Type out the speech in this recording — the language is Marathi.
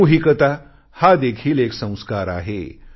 सामूहिकता हा देखील एक संस्कार आहे